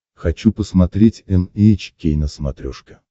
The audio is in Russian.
хочу посмотреть эн эйч кей на смотрешке